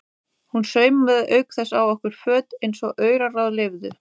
Hún saumaði auk þess á okkur föt eins og auraráð leyfðu.